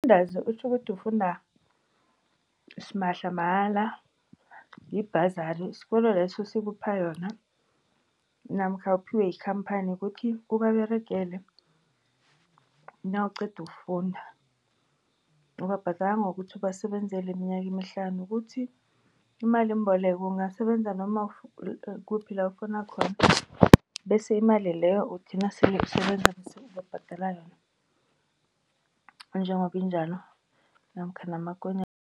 Umfundaze kutjho ukuthi ukufunda simahla mahala yi-bursary isikolo leso sikuphe yona namkha uphiwe yikhamphani ukuthi ubaberegele nawuqeda ukufunda. Ubabhadela ngokuthi ubasebenzele iminyaka emihlanu. Kuthi imalimboleko ungasebenza noma kukuphi la ofuna khona, bese imali leyo uthi nasele usebenza bese ubabhadela yona njengoba injalo namkha namakonyana.